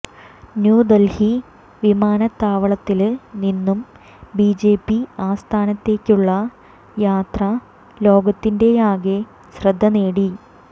ന്യൂദല്ഹി വിമാനത്താവളത്തില് നിന്നും ബിജെപി ആസ്ഥാനത്തേക്കുള്ള യാത്ര ലോകത്തിന്റെയാകെ ശ്രദ്ധ നേടി